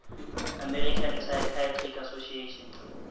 american psychiatric association